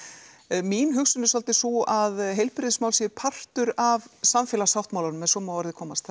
mín hugsun er svolítið sú að heilbrigðismál séu partur af samfélagssáttmálanum ef svo má að orði komast